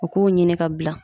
O k'u ɲini ka bila